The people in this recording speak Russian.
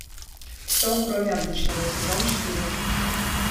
все кроме обычного сезон четыре